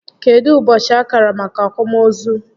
Kedụ ụbọchị a kara maka akwamozu?